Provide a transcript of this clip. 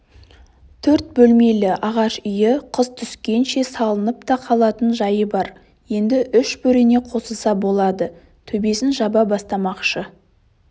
төрт бөлмелі ағаш үйі қыс түскенше салынып та қалатын жайы бар енді үш бөрене қосылса болды төбесін жаба бастамақшы